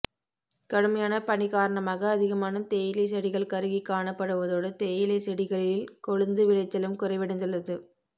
கடுமையான பணி காரணமாக அதிகமான தேயிலை செடிகள் கருகி காணப்படுவதோடு தேயிலை செடிகளில் கொழுந்து விளைச்சலும் குறைவடைந்துள்ளது